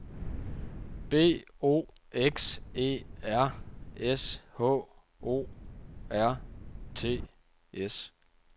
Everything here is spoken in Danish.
B O X E R S H O R T S